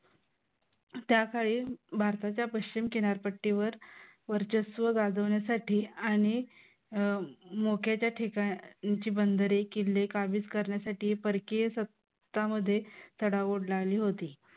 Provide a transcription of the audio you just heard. त्याकाळी भारताच्या पश्चिम किनारपट्टीवर वर्चस्व गाजवण्यासाठी आणि मोक्याच्या ठिकाणची बंदरे किल्ले काबीज करण्यासाठी परकीय सत्ता मध्ये चढाओढ लागली होती.